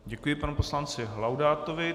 Děkuji panu poslanci Laudátovi.